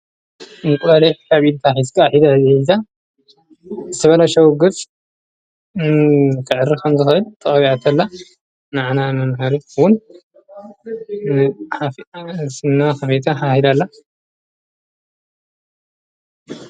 እንቋልኅ ኅቢድታ ኂስቃ ኂዳ ዘኂልዛ ስበለ ሻዉግጽ ፍዕሪ ኸንተኸይል ተቐቢዐተላ ነዕና መምሃሪትውን ሓፍዓስና ኸሜታ ሓሂዳላ።